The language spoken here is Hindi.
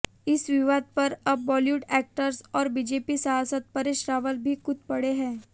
इस विवाद पर अब बॉलीवुड एक्टर और बीजेपी सांसद परेश रावल भी कूद पड़े हैं